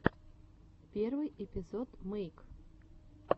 первый эпизод мэйк